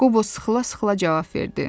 Qobo sıxıla-sıxıla cavab verdi.